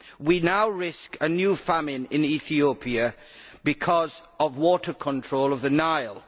We now risk a new famine in Ethiopia because of water control of the Nile.